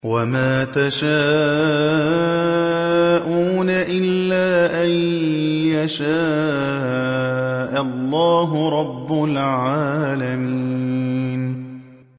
وَمَا تَشَاءُونَ إِلَّا أَن يَشَاءَ اللَّهُ رَبُّ الْعَالَمِينَ